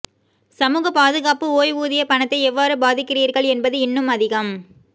சமூகப் பாதுகாப்பு ஓய்வூதிய பணத்தை எவ்வாறு பாதிக்கிறீர்கள் என்பது இன்னும் அதிகம்